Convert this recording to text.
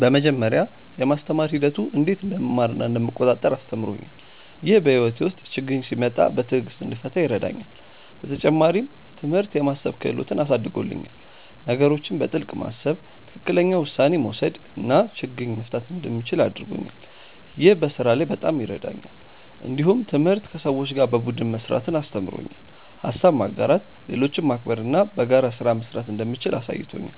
በመጀመሪያ፣ የማስተማር ሂደቱ እንዴት እንደምማር እና እንደምቆጣጠር አስተምሮኛል። ይህ በሕይወቴ ውስጥ ችግኝ ሲመጣ በትዕግሥት እንድፈታ ይረዳኛል። በተጨማሪም፣ ትምህርት የማሰብ ክህሎትን አሳድጎልኛል። ነገሮችን በጥልቅ ማሰብ፣ ትክክለኛ ውሳኔ መውሰድ እና ችግኝ መፍታት እንደምችል አድርጎኛል። ይህ በስራ ላይ በጣም ይረዳኛል። እንዲሁም ትምህርት ከሰዎች ጋር በቡድን መስራትን አስተምሮኛል። ሀሳብ ማጋራት፣ ሌሎችን ማክበር እና በጋራ ስራ መስራት እንደምችል አሳይቶኛል።